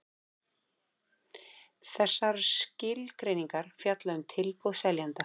Þessar skilgreiningar fjalla um tilboð seljanda.